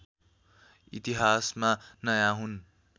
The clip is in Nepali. इतिहासमा नयाँ हुन्